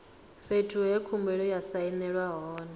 fhethu he khumbelo ya sainelwa hone